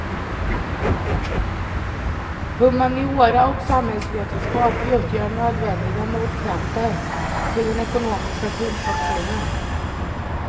Humaniora och samhällsvetenskap utgör nödvändiga motkrafter till den ekonomistiska kunskapssynen.